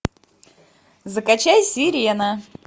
закачай сирена